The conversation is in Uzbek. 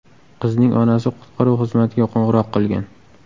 Qizning onasi qutqaruv xizmatiga qo‘ng‘iroq qilgan.